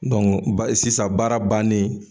sisan baara bannen